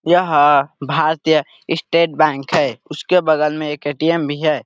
यह भारतीय State Bank है उसके बगल में एक एटीएम भी है।